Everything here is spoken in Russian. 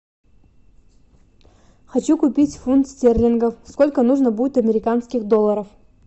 хочу купить фунт стерлингов сколько нужно будет американских долларов